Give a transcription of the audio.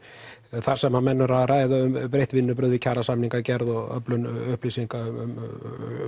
þar sem að menn eru að ræða um breytt vinnubrögð við kjarasamningagerð og öflun upplýsinga um